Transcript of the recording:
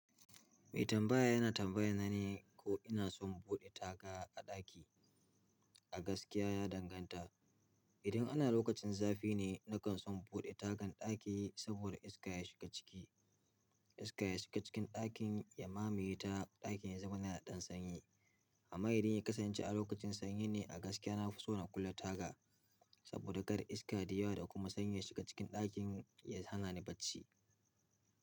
Mai tambaya yana tambaya na ne ko ina son buɗe taga a ɗaki. A gaskiya ya danganta. Idan ana lokacin zafi ne, nakan so in buɗe tagan ɗaki saboda iska ya shiga ciki. Iska ya shiga cikin ɗakin ya mamaye ta ɗakin ya zama na ɗan sanyi. Amma idan ya kasance a lokacin sanyi ne a gaskiya, na fi so na kulle taga saboda kar iska da yawa da kuma sanyi ya shiga cikin ɗakin ya hana ni bacci.